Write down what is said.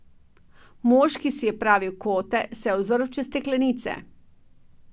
Mož, ki si je pravil Kote, se je ozrl čez steklenice.